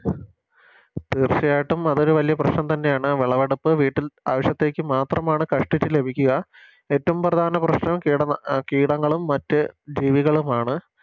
തീർച്ചയായിട്ടും അതൊരു വലിയ പ്രശ്നം തന്നെയാണ് വിളവെടുപ്പ് വീട്ടിൽ ആവശ്യത്തേക്ക് മാത്രമാണ് കഷ്ട്ടിച്ച് ലഭിക്കുക ഏറ്റോം പ്രധാന പ്രശ്നം കീടനാ കീടങ്ങളും മറ്റ് ജീവികളുമാണ്